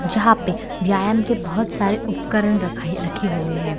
जहाँ पे व्यायाम के बहुत सारे उपकरण रखा रखे हुए हैं।